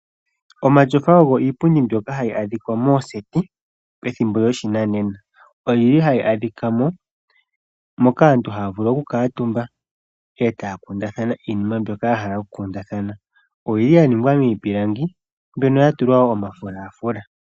Omatyofa ogo iipundi mbyoka hayi adhika mooseti methimbo lyopashinanena, oyo yili hayi adhika mo, moka aantu haya vulu okukaantumba, e taya kundathano iinima mbyoka yahala okukundathana, oyili ya ningwa miipilangi mbyono woo ya tulwa omafulafula.